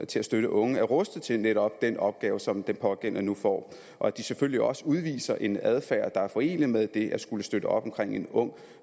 til at støtte unge er rustet til netop den opgave som den pågældende nu får og de selvfølgelig også udviser en adfærd der er forenelig med det at skulle støtte op omkring en ung